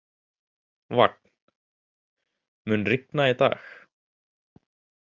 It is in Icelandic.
Vagn, mun rigna í dag?